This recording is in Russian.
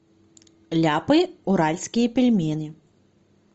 ляпы уральские пельмени